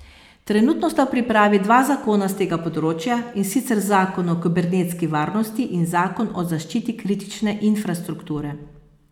Trenutno sta v pripravi dva zakona s tega področja, in sicer zakon o kibernetski varnosti in zakon o zaščiti kritične infrastrukture.